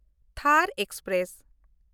ᱛᱷᱟᱨ ᱮᱠᱥᱯᱨᱮᱥ